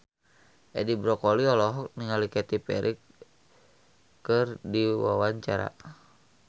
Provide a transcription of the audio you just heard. Edi Brokoli olohok ningali Katy Perry keur diwawancara